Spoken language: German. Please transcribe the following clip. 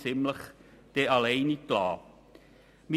Vielleicht ging es Ihnen auch so: